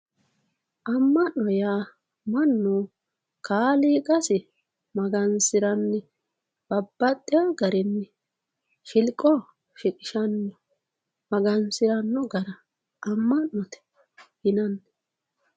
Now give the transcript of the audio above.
AMa'note yaa mannu kaaliiqasi magansiranni babbaxxewo garinni shilqo shiqqishano magansirano gara ama'note yinanni.